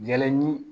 Jalaɲi